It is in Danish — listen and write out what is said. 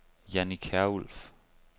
Janni Kjærulff